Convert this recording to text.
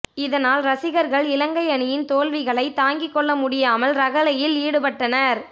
இதனால் ரசிகர்கள் இலங்கை அணியின் தோல்விகளை தாங்கிக் கொள்ள முடியமால் ரகளையில் ஈடுபட்டனர்